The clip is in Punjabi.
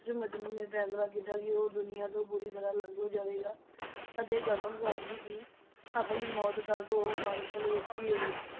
ਮਜਨੂੰ ਨੇ ਫ਼ੈਸਲਾ ਕੀਤਾ ਕਿ ਉਹ ਦੁਨੀਆ ਤੋਂ ਪੂਰੀ ਤਰਾਂ ਅਲੱਗ ਹੋ ਜਾਵੇਗਾ ਅਤੇ ਕਸਮ ਖਾਧੀ ਕਿ ਆਪਣੀ ਮੌਤ ਤੱਕ ਉਹ ਮਾਰੂਥਲ ਵਿੱਚ ਹੀ ਰਹੇਗਾ।